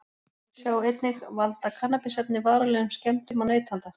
Sjá einnig: Valda kannabisefni varanlegum skemmdum á neytanda?